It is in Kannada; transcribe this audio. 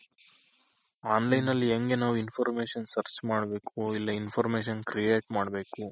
online ನಲ್ಲಿ ಹೆಂಗೆ ನಾವು Information search ಮಾಡ್ಬೇಕು ಇಲ್ಲ Information create ಮಾಡ್ಬೇಕು.